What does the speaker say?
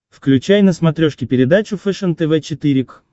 включай на смотрешке передачу фэшен тв четыре к